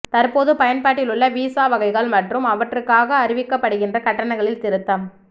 தற்போது பயன்பாட்டிலுள்ள வீசா வகைகள் மற்றும் அவற்றுக்காக அறவிடப்படுகின்ற கட்டணங்களில் திருத்தம்